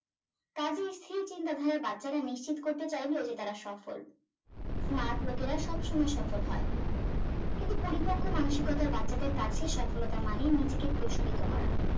কাজেই স্থির চিন্তা ধারার বাচ্চারা নিশ্চিত করতে চাইলো যে তারা সফল smart লোকেরা সবসময় সফল হয় কিন্তু পরিপক্ক মানসিকতার বাচ্চাদের কাছে সফলতা মানেই নিজেকে প্রসারিত করা